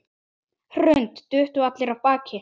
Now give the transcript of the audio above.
Hrund: Duttu allir af baki?